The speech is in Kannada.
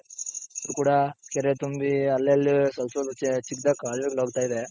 ಇಲ್ಲೂ ಕೂಡ ಕೆರೆ ತುಂಬಿ ಅಲ್ಲಲ್ಲಿ ಸ್ವಲ್ಪ್ ಸ್ವಲ್ಪ ಚಿಕ್ಕದಾಗಿ ಕಾಲುವೆ ಗಳು ಹೋಗ್ತಾ ಇದೆ.